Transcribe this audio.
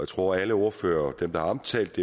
tror alle ordførere dem der har omtalt